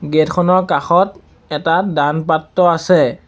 Gate খনৰ কাষত এটা দান পাত্ৰ আছে।